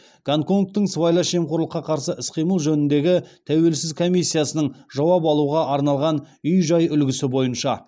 гонконгтың сыбайлас жемқорлыққа қарсы іс қимыл жөніндегі тәуелсіз комиссиясының жауап алуға арналған үй жай үлгісі бойынша